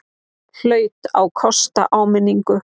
Hlaut að kosta áminningu!